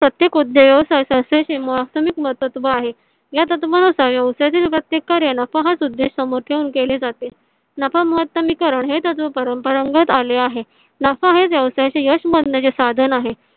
प्रत्येक उद्योग व्यवसाय तत्व आहे. या तत्वानुसार व्यवसायातील प्रत्येक कार्याला पाच उदिष्ट समोर ठेवून केले जाते. नफा महतमी करण हे तत्व परंपरागत आले आहेत. नफा हे व्यवसायाचे यश साधन आहे.